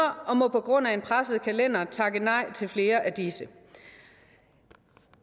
må hun på grund af en presset kalender takke nej til flere af disse